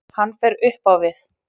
Hann fer upp á við.